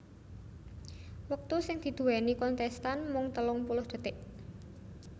Wektu sing diduwèni kontèstan mung telung puluh dhetik